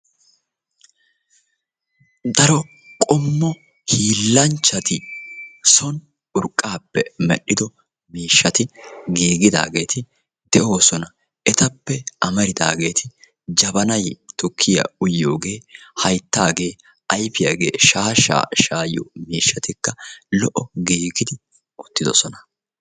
daro qommo hiilanchchati so mishshsa urqappe medhidooge de"eessi ettappe amaridagetti jabanay, masqalette, bashe shaasha shayiyoge giigidi utidossona.